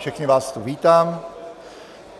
Všechny vás tu vítám.